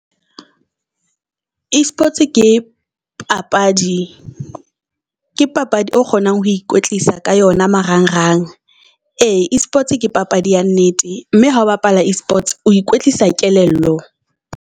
E-sports ke papadi ke papadi eo kgonang ho ikwetlisa ka yona marang rang. Ee e-sports ke papadi ya nnete mme ha bapala e-sports o ikwetlisa kelello.